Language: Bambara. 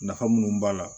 Nafa munnu b'a la